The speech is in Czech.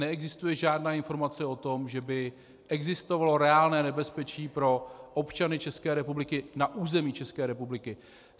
Neexistuje žádná informace o tom, že by existovalo reálné nebezpečí pro občany České republiky na území České republiky.